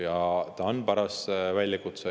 Eks ta on paras väljakutse.